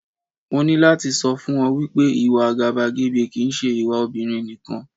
Mo ní láti sọ fún ọ wípé, ìwà àgàbàgebè kì ń ṣe ìwà obìnrin nìkan.